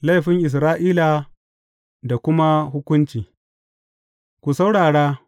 Laifin Isra’ila da kuma hukunci Ku saurara!